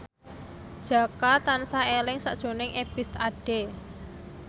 Jaka tansah eling sakjroning Ebith Ade